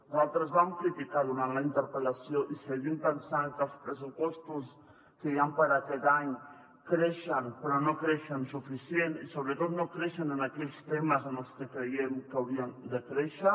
nosaltres ho vam criticar durant la interpel·lació i ho seguim pensant que els pressupostos que hi han per a aquest any creixen però no creixen suficientment i sobretot no creixen en aquells temes en els que creiem que haurien de créixer